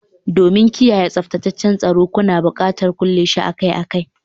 Domin kiyaye tsaftataccen tsoro, kuna buƙatar kulle shi akai-akai